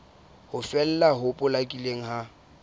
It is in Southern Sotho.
ho fela ho potlakileng ha